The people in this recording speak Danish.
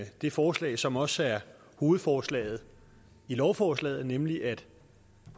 det forslag som også er hovedforslaget i lovforslaget nemlig at